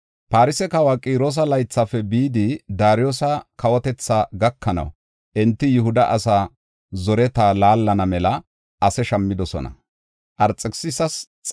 Farse kawa Qiroosa laythafe bidi Daariyosa kawotetha gakanaw enti Yihuda asaa zoreta laallana mela ase shammidosona.